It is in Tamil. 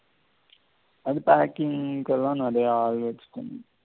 அது packing கெல்லாம் நெறையா